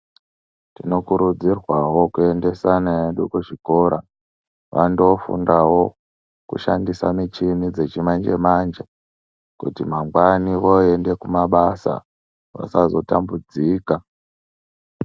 Tinokurudzirwa wo kuekuendesa vana vedu kuzvikora vandofundawo kushandisa muchini dzechimanje manje kuti ma gwani voenda kumabasa tisa zotambudzika.